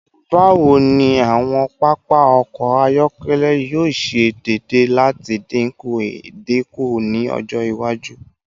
Bawo ni awọn papa ọkọ ayọkẹlẹ yoo ṣe deede lati dinku idinku ni ọjọ iwaju?